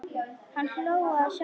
Hann hló að sjálfum sér.